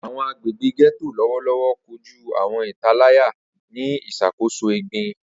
Awọn agbegbe Getto lọwọlọwọ koju awọn italaya ni iṣakoso egbin.